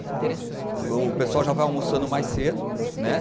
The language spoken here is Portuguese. O o pessoal já vai almoçando mais cedo, né?